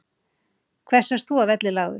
Hversu ert þú að velli lagður,